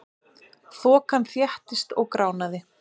Þokan þéttist og gránaði.